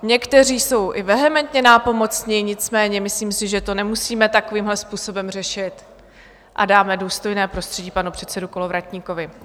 Někteří jsou i vehementně nápomocni, nicméně myslím si, že to nemusíme takovýmhle způsobem řešit, a dáme důstojné prostředí panu předsedovi Kolovratníkovi.